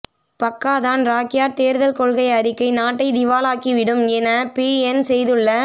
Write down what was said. Pakatan Rakyat தேர்தல் கொள்கை அறிக்கை நாட்டைத் திவாலாக்கி விடும் என பிஎன் செய்துள்ள